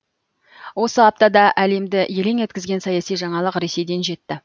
осы аптада әлемді елең еткізген саяси жаңалық ресейден жетті